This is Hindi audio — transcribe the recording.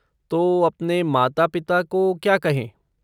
तो, अपने माता पिता को क्या कहें?